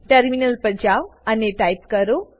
terminal પર જાવ અને ટાઈપ કરો